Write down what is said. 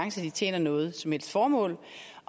at de tjener noget som helst formål